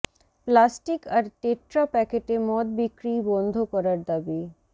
plastic আর tetra প্যাকেটে মদ বিক্রি বন্ধ করার দাবি